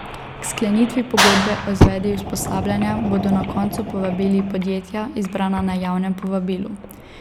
K sklenitvi pogodbe o izvedbi usposabljanja bodo na koncu povabili podjetja, izbrana na javnem povabilu.